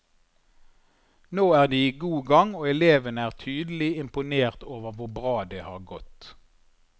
Nå er de i god gang, og elevene er tydelig imponert over hvor bra det har gått.